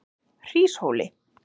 Hríshóli